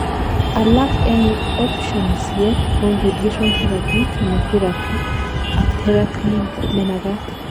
alak en optionisiek kou radiation therapy, chemotherapy ak therapy nemagat